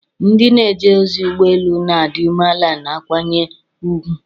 Ndị na-eje ozi ụgbọ elu na-adị umeala na akwanye ùgwù.